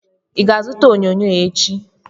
I ga-azụta onyonyo echi?